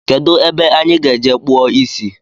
Kedụ ebe anyị ga-eje kpụọ isi